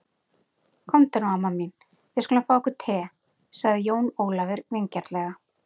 Komdu nú amma mín, við skulum fá okkur te, sagði Jón Ólafur vingjarnlega.